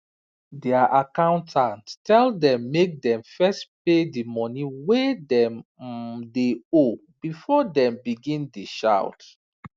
their accountant tell them make dem first pay the the money wey dem um dey owe before dem begin dey shout